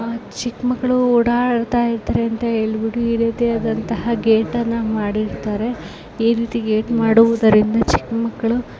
ಚಿಕ್ ಮಕ್ಳು ಓಡಾಡ್ತಇರತಾರೆಅಂತ ಹೇಳ್ಬಿಟ್ಟು ಈ ರೀತಿಯಾದಂತಹ ಗೇಟಾನ್ನ ಮಾಡಿರ್ತಾರೆ. ಈ ರೀತಿ ಗೇಟ್ ಮಾಡುವದರಿಂದ ಚಿಕ್ ಮಕ್ಳು--